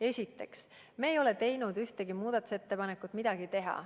Esiteks, me ei ole teinud ühtegi muudatusettepanekut midagi teha.